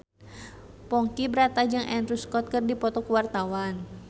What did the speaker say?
Ponky Brata jeung Andrew Scott keur dipoto ku wartawan